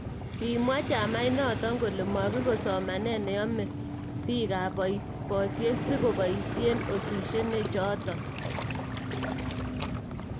Kimwa chamait nt kole makikoi somanee ne yomee biika bosie si ko boisie oshineshe choto.